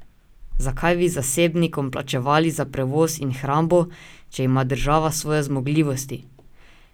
Zakaj bi zasebnikom plačevali za prevoz in hrambo, če ima država svoje zmogljivosti?